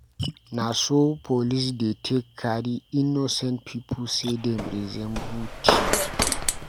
Na so police dey take carry innocent pipu sey dem resemble tif.